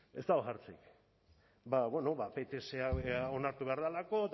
ez dago jartzerik bada bueno ba pts onartu behar delako